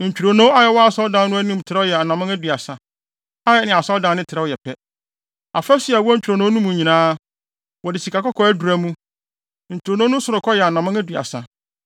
Ntwironoo a ɛwɔ Asɔredan no anim trɛw yɛ anammɔn aduasa, a ɛne Asɔredan no trɛw yɛ pɛ. Afasu a ɛwɔ ntwironoo no mu no nyinaa, wɔde sikakɔkɔɔ adura mu. Ntwironoo no sorokɔ yɛ anammɔn aduasa.